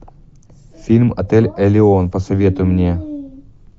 фильм отель элеон посоветуй мне